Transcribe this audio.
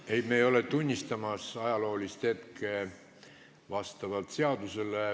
Ei, me ei ole tunnistamas ajaloolist hetke.